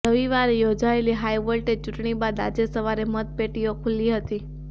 રવિવારે યોજાયેલી હાઇવોલ્ટેજ ચૂંટણી બાદ આજે સવારે મતપેટીઓ ખુલી હતી